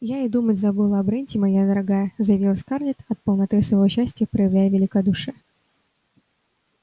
я и думать забыла о бренте моя дорогая заявила скарлетт от полноты своего счастья проявляя великодушие